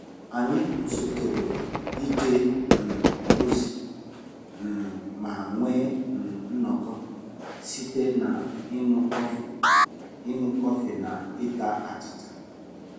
Anyị kwụsịtụrụ ije um ozi um ma nwee um nnọkọ site na iñu kọfị iñu kọfị na ịta achịcha